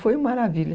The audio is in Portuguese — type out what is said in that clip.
Foi uma maravilha.